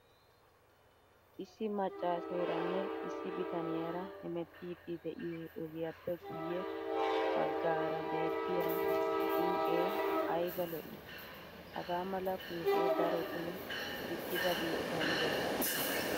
Issi maccaaseeranne issi bitaniyara hemeettiidi de'iyo ogiyappe guyye baggaara beettiya phooqee qlayba lo'ii! Hagaa mala phooqee darotoo diccida biitta de'ees.